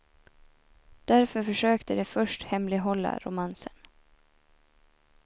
Därför försökte de först hemlighålla romansen.